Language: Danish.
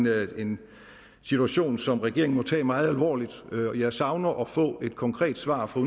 er en situation som regeringen må tage meget alvorligt jeg savner der at få et konkret svar fra